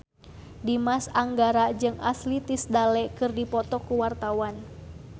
Dimas Anggara jeung Ashley Tisdale keur dipoto ku wartawan